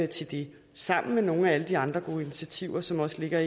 til det sammen med nogle af alle de andre gode initiativer som også ligger